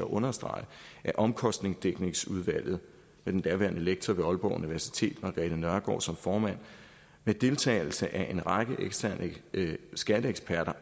at understrege at omkostningsdækningsudvalget med den daværende lektor ved aalborg universitet margrethe nørgaard som formand med deltagelse af en række eksterne skatteeksperter